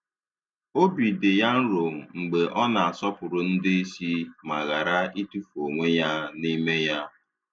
Obi dị ya nro mgbe ọ na-asọpụrụ ndị isi ma ghara itufu onwe ya n'ime ya.